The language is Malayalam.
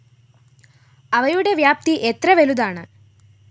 അവയുടെ വ്യാപ്തി എത്ര വലുതാണ്